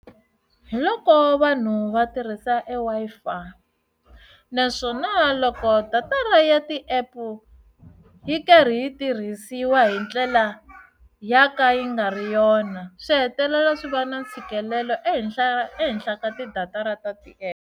Hi loko vanhu va tirhisa eWi-Fi naswona loko data ra ya ti app yi karhi yi tirhisiwa hi ndlela ya ka yi nga ri yona swi hetelela swi va na ntshikelelo ehenhla ehenhla ka ti datara ta ti app.